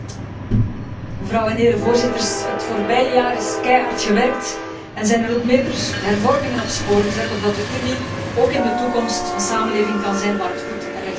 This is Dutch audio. Het voorbije jaar is keihard gewerkt en zijn er meerdere hervormingen op het spoor gezet, opdat de Unie ook in de toekomst een samenleving kan zijn waar het goed en rechtvaardig leven en werken is.